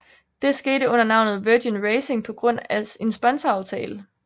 Det skete under navnet Virgin Racing på grund af en sponsoraftale